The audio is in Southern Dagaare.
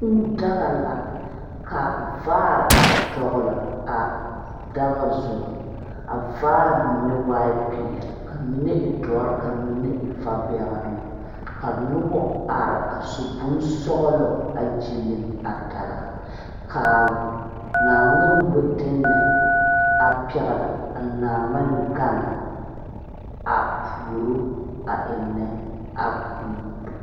Kūū daga la ka vaare a dɔgle a daga zu a vaare mine waai peɛle ka mine e dɔre ka mine e va bɛŋnoŋ ka nobɔ are a su bonsɔglɔ a gyiliŋ a daga kaa naanhmene wideŋnɛ a pɛgle a naangmen gan a puoro a eŋnɛ a kūū.